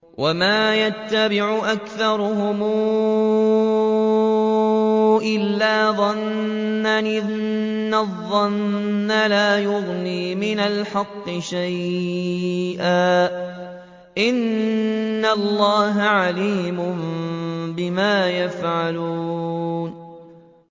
وَمَا يَتَّبِعُ أَكْثَرُهُمْ إِلَّا ظَنًّا ۚ إِنَّ الظَّنَّ لَا يُغْنِي مِنَ الْحَقِّ شَيْئًا ۚ إِنَّ اللَّهَ عَلِيمٌ بِمَا يَفْعَلُونَ